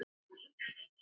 Á þessu er einn hængur.